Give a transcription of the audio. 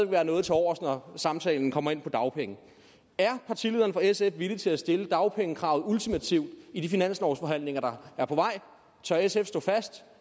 være noget tilovers når samtalen kommer ind på dagpengene er partilederen fra sf villig til at stille dagpengekravet ultimativt i de finanslovsforhandlinger der er på vej tør sf stå fast